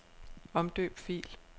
Omdøb fil.